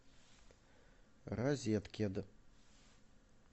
розеткед